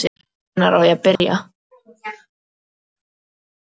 Og hvenær á ég að byrja?